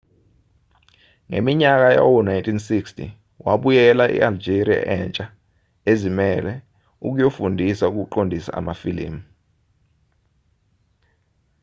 ngeminyaka yawo-1960 wabuyela e-algeria entsha ezimele ukuyofundisa ukuqondisa amafilimu